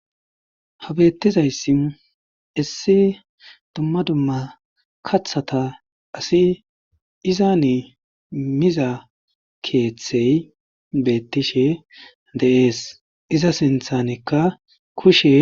ha beettizayssi issi dumma dumma kathata asi izani miza keeththey beettishe dee'es iza sinthanikka kushe